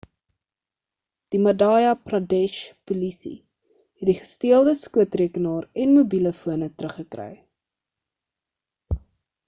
die madhya pradesh polisie het die gesteelde skootrekenaar en mobiele fone teruggekry